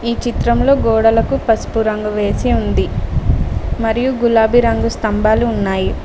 ఈ చిత్రంలో గోడలకు పసుపు రంగు వేసి ఉంది మరియు గులాబీ రంగు స్థంభాలు ఉన్నాయి.